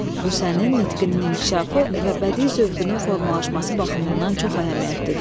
Bu sənin nitqinin inkişafı və bədii zövqünün formalaşması baxımından çox əhəmiyyətlidir.